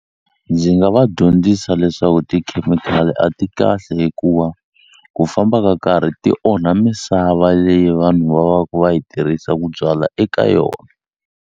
Ndzi nga va dyondzisa leswaku tikhemikhali a ti kahle hikuva ku famba ka karhi ti onha misava leyi vanhu va va ku va yi tirhisa ku byala eka yona.